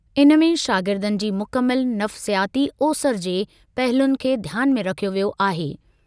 इन में शागिर्दनि जी मुकमल नफ़्सियाती ओसरि जे पहलुनि खे ध्यान में रखियो वियो आहे।